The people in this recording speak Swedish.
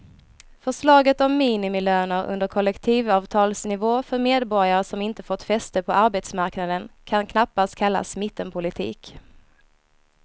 Förslaget om minimilöner under kollektivavtalsnivå för medborgare som inte har fått fäste på arbetsmarknaden kan knappast kallas mittenpolitik.